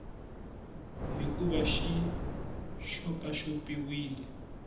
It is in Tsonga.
hi ku va xi xopaxopiwile